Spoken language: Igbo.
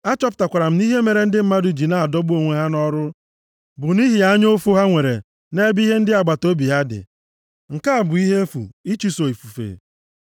Achọpụtakwara m na ihe mere ndị mmadụ ji na-adọgbu onwe ha nʼọrụ bụ nʼihi anya ụfụ ha nwere nʼebe ihe ndị agbataobi ha dị. Nke a bụ ihe efu, ịchụso ifufe.